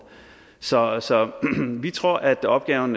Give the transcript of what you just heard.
så så vi tror at opgaven